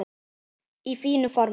Í fínu formi.